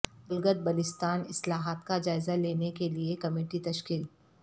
گلگت بلتستان اصلاحات کا جائزہ لینے کیلئے کمیٹی تشکیل